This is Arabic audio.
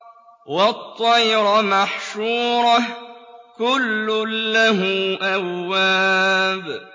وَالطَّيْرَ مَحْشُورَةً ۖ كُلٌّ لَّهُ أَوَّابٌ